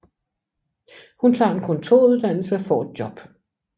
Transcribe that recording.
Hun tager en kontoruddannelse og får et job